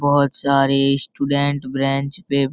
बहुत सारे student bench पे --